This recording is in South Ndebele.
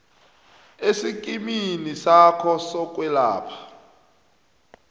esikimini sakho sokwelapha